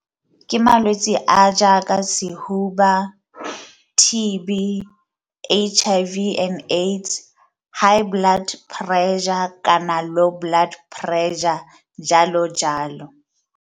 Ke malwetse a a jaaka sehuba, T_B, H_I_V and AIDS, high blood pressure kana low blood pressure jalo jalo